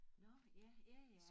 Nå ja ja ja